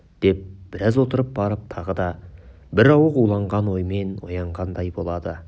деп біраз отырып барып тағы да бір ауық уланған оймен оянғандай болады